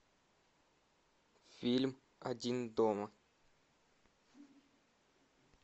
фильм один дома